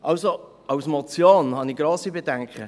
Also: Bei der Motion habe ich sehr grosse Bedenken.